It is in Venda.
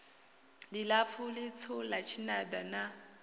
ḽilapfu ḽitswu ḽa tshinada na